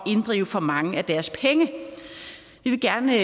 inddrive for mange af deres penge vi vil gerne